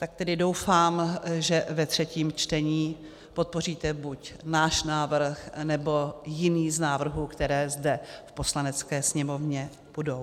Tak tedy doufám, že ve třetím čtení podpoříte buď náš návrh, nebo jiný z návrhů, které zde v Poslanecké sněmovně budou.